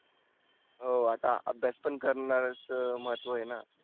हो आता आभ्यास पण करणार आहेस महत्व आहेना.